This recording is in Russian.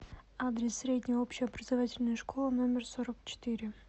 адрес средняя общеобразовательная школа номер сорок четыре